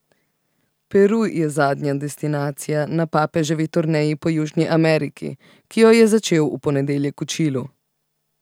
Peru je zadnja destinacija na papeževi turneji po Južni Ameriki, ki jo je začel v ponedeljek v Čilu.